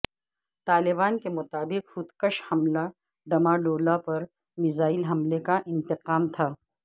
طالبان کےمطابق خود کش حملہ ڈمہ ڈولا پر میزائل حملے کا انتقام تھا